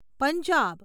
Punjab